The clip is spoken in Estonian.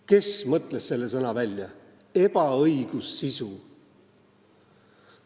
Kes mõtles välja selle sõna – "ebaõigussisu"?